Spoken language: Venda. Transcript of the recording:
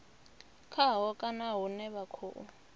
khaho kana hune vha khou